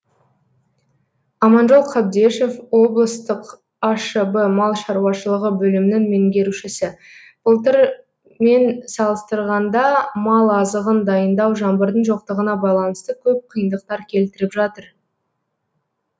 аманжол қабдешов облыстық ашб мал шаруашылығы бөлімінің меңгерушісі былтырмен салыстырғанда мал азығын дайындау жаңбырдың жоқтығына байланысты көп қиындықтар келтіріп жатыр